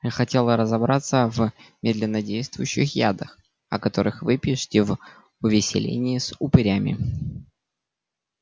я хотела разобраться в медленнодействующих ядах о которых вы пишете в увеселении с упырями